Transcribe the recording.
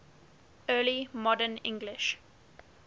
early modern english